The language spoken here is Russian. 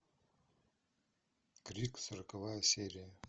крик сороковая серия